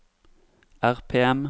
RPM